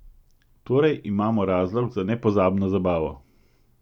Torej imamo razlog za nepozabno zabavo!